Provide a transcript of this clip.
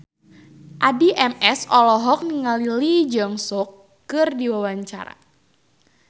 Addie MS olohok ningali Lee Jeong Suk keur diwawancara